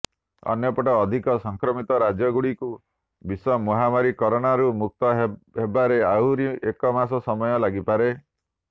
ଅନ୍ୟପଟେ ଅଧିକ ସଂକ୍ରମିତ ରାଜ୍ୟଗୁଡିକୁ ବିଶ୍ବ ମହାମାରୀ କରୋନାରୁ ମୁକ୍ତ ହେବାରେ ଆହୁରି ଏକ ମାସ ସମୟ ଲାଗିପାରେ